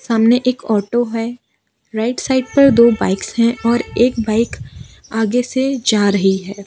सामने एक ऑटो है राइट साइड पर दो बाइक्स हैं और एक बाइक आगे से जा रही है।